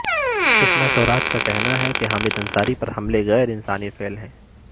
سشما سوراج کا کہنا ہے کہ حامد انصاری پر حملے غیر انسانی فعل ہیں